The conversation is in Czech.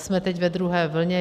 Jsme teď ve druhé vlně.